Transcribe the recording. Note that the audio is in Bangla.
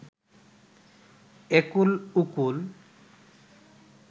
একুল ওকুল